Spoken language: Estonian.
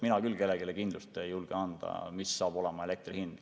Mina küll ei julge kellelegi kindlust anda, milline saab olema elektri hind.